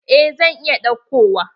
Eh zan iya ɗauko wa.